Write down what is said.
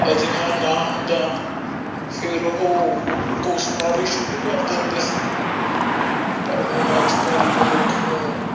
ਅਜਿਹਾ ਨਾ ਹੁੰਦਾ ਫੇਰ ਉਹ ਕੋਸਨਾ ਵੀ ਸ਼ੁਰੂ ਕਰ ਪਰ ਹੁਣ ਅੱਜ ਕੱਲ ਮਨੁੱਖ ਨੂੰ।